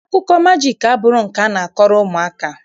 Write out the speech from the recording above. akụkọ majiiki abụghị nke a na-akọrọ ụmụaka.